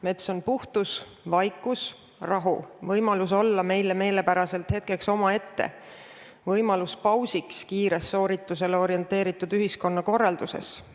Mets on puhtus, vaikus, rahu, võimalus olla meile meelepäraselt hetkeks omaette, võimalus teha paus kiirele sooritusele orienteeritud ühiskonnakorralduses.